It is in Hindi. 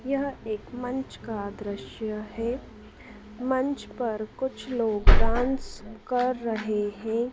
यह एक मंच का दृश्य हैं मंच पर कुछ लोग डांस कर रहे हैं।